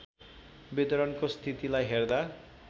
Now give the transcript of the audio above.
वितरणको स्थितिलाई हेर्दा